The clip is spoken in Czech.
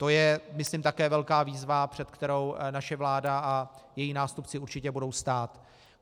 To je myslím také velká výzva, před kterou naše vláda a její nástupci určitě budou stát.